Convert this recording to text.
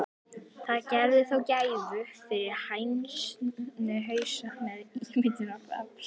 Það gerði þó gæfumuninn fyrir hænuhaus með ímyndunarafl.